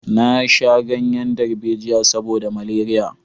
Na sha ganyen darbejiya saboda maleriya